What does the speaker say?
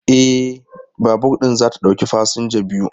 E, babur ɗin za ta ɗauki fasinja biyu.